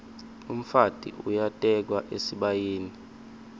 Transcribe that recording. umfati uyatekwa esibayeni